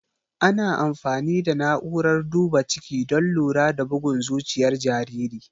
Ana amfani da na'urar duba ciki don lura da bugun zuciyar jariri.